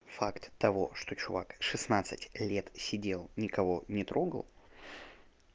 факт того что человек шестнадцать лет сидел никого не трогал